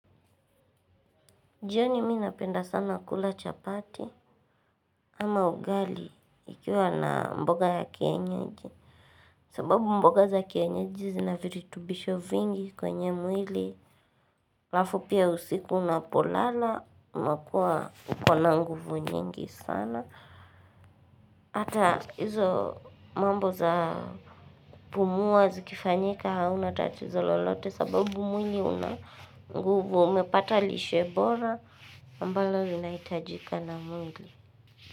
Jioni minapenda sana kula chapati ama ugali ikiwa na mboga ya kienyeji. Sababu mboga za kienyeji zinaviritubisho vingi kwenye mwili. Alafu pia usiku unapolala, unakua ukona nguvu nyingi sana. Hata hizo mambo za kupumua zikifanyika hauna tatizo lolote sababu mwili una nguvu. Umepata lishe bora ambalo linaitajika na muili.